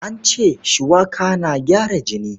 An ce shuwaka na gyara jini.